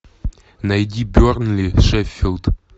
найди бернли шеффилд